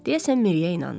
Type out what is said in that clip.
Deyəsən Miriyə inanmadı.